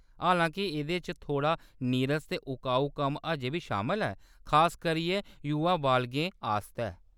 हालांके, एह्‌‌‌दे च थोह्‌ड़ा नीरस ते अकाऊ कम्म अजें बी शामल ऐ, खास करियै युवा बालगें आस्तै।